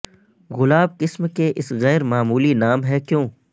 گلاب قسم کے اس غیر معمولی نام ہے کیوں